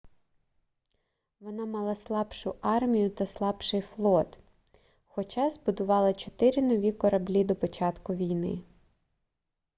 вона мала слабшу армію та слабший флот хоча збудувала чотири нові кораблі до початку війни